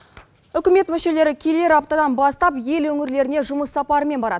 үкімет мүшелері келер аптадан бастап ел өңірлеріне жұмыс сапарымен барады